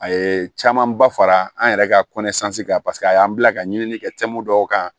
A ye camanba fara an yɛrɛ ka kan paseke a y'an bila ka ɲinini kɛmu dɔw kan